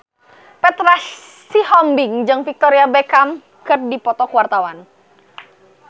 Petra Sihombing jeung Victoria Beckham keur dipoto ku wartawan